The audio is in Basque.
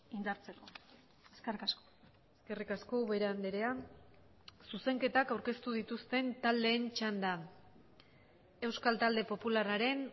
indartzeko eskerrik asko eskerrik asko ubera andrea zuzenketak aurkeztu dituzten taldeen txanda euskal talde popularraren